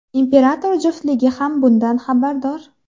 Imperator juftligi ham bundan xabardor.